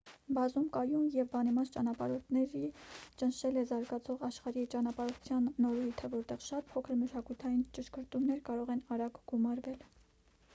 բազում կայուն և բանիմաց ճանապարհորդների ճնշել է զարգացող աշխարհի ճանապարհորդության նորույթը որտեղ շատ փոքր մշակութային ճշգրտումներ կարող են արագ գումարվել